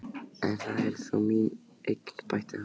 En það er þó mín eign, bætti hann við.